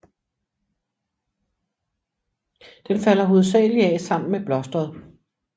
Den falder hovedsagelig af sammen med blosteret